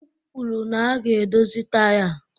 M kwuru na a ga-edozi taya a